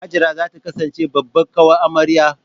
Hajara za ta kasance babbar ƙawar amarya.